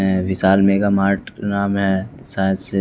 विशाल mega mart नाम है science --